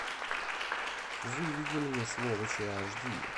выведи мне сволочи аш ди